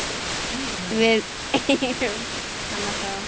Við eigum hana þó.